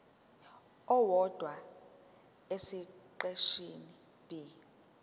owodwa esiqeshini b